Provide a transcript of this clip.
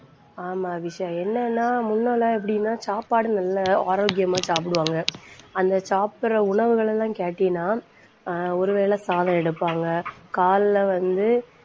ஆமா அபிஷா. என்னன்னா முன்னாலே எப்படின்னா சாப்பாடு நல்லா ஆரோக்கியமா சாப்பிடுவாங்க. அந்த சாப்பிடுற உணவுகளை எல்லாம் கேட்டிங்கன்னா ஆஹ் ஒருவேளை சாதம் எடுப்பாங்க காலைல வந்து